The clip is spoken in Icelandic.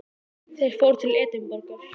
Þeir fóru til Edinborgar.